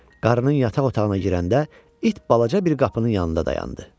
Qarının yataq otağına girəndə it balaca bir qapının yanında dayandı.